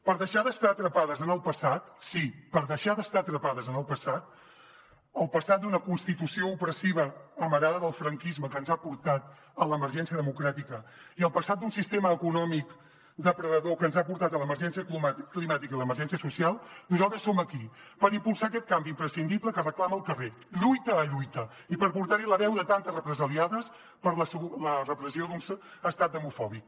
per deixar d’estar atrapades en el passat sí per deixar d’estar atrapades en el passat el passat d’una constitució opressiva amarada del franquisme que ens ha portat a l’emergència democràtica i el passat d’un sistema econòmic depredador que ens ha portat a l’emergència climàtica i l’emergència social nosaltres som aquí per impulsar aquest canvi imprescindible que reclama el carrer lluita a lluita i per portarhi la veu de tantes represaliades per la repressió d’un estat demofòbic